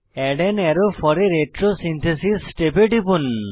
add an arrow for a retrosynthesis step এ টিপুন